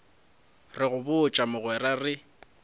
re go botša mogwera re